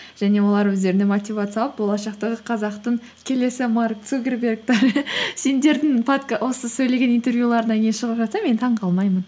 және олар өздеріне мотивация алып болашақта қазақтың келесі марк цукерберг сендердің осы сөйлеген интервьюларыңнан кейін шығып жатса мен таңғалмаймын